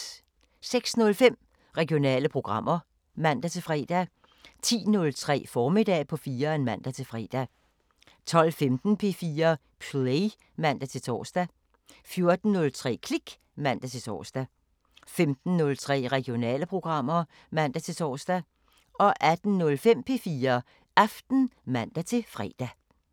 06:05: Regionale programmer (man-fre) 10:03: Formiddag på 4'eren (man-fre) 12:15: P4 Play (man-tor) 14:03: Klik (man-tor) 15:03: Regionale programmer (man-tor) 18:05: P4 Aften (man-fre)